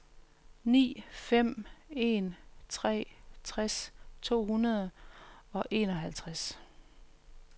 ni fem en tre tres to hundrede og enoghalvtreds